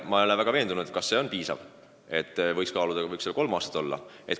Ma ei ole väga veendunud, et see on piisav, võiks kaaluda minimaalselt kolme aastat.